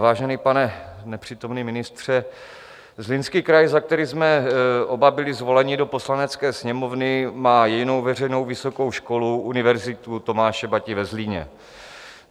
Vážený pane nepřítomný ministře, Zlínský kraj, za který jsme oba byli zvoleni do Poslanecké sněmovny, má jedinou veřejnou vysokou školu, Univerzitu Tomáše Bati ve Zlíně.